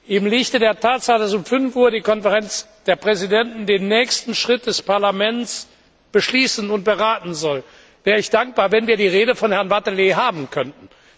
Im Lichte der Tatsache, dass um 17 Uhr die Konferenz der Präsidenten den nächsten Schritt des Parlaments beschließen und beraten soll, wäre ich dankbar, wenn wir die Rede von Herrn Wathelet haben könnten.